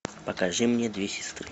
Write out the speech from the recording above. покажи мне две сестры